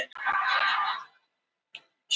spurði Jón Grindvíkingur aftur.